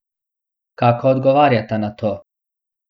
Kako odgovarjata na to?